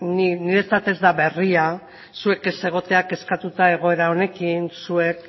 niretzat ez da berria zuek ez egotea kezkatua egoera honekin zuek